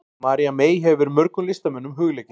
María mey hefur verið mörgum listamönnum hugleikin.